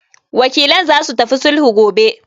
Wakilan zasu tafi sulhu gobe.